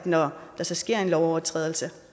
når der sker en lovovertrædelse